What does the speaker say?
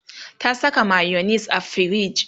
ta Saka mayonis a firij